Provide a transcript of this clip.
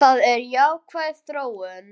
Það er jákvæð þróun.